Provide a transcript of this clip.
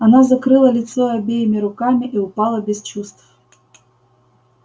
она закрыла лицо обеими руками и упала без чувств